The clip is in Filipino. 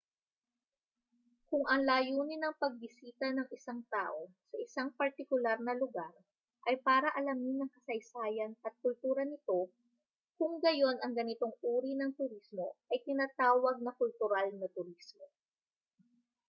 kung ang layunin ng pagbisita ng isang tao sa isang partikular na lugar ay para alamin ang kasaysayan at kultura nito kung gayun ang ganitong uri ng turismo ay tinatawag na kultural na turismo